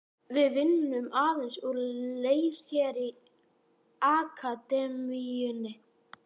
Við vinnum aðeins úr leir hér í Akademíunni.